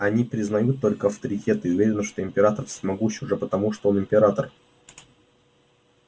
они признают только авторитеты и уверены что император всемогущ уже потому что он император